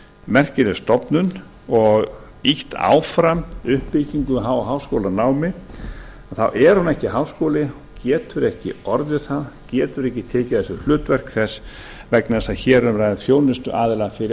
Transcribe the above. merkileg stofnun og ýtt áfram uppbyggingu á háskólanámi þá er hún ekki háskóli getur ekki orðið það getur ekki tekið að sér hlutverk þess vegna þess að hér er um að ræða þjónustuaðila fyrir